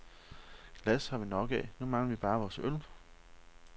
Glas har vi nok af, nu mangler vi bare vores øl.